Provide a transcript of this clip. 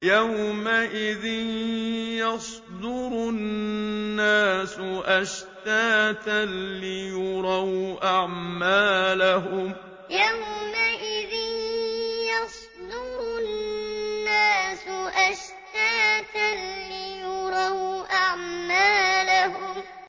يَوْمَئِذٍ يَصْدُرُ النَّاسُ أَشْتَاتًا لِّيُرَوْا أَعْمَالَهُمْ يَوْمَئِذٍ يَصْدُرُ النَّاسُ أَشْتَاتًا لِّيُرَوْا أَعْمَالَهُمْ